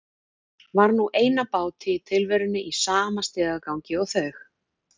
Var nú ein á báti í tilverunni í sama stigagangi og þau.